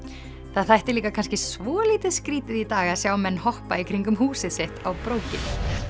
það þætti líka kannski svolítið skrítið í dag að sjá menn hoppa í kringum húsið sitt á brókinni